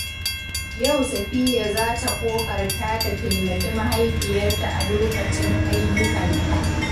Yau Safiyya za ta ƙoƙarta ta taimaki mahaifiyarta a lokacin ayyukanta.